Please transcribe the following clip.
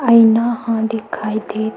आइना ह दिखाई देत--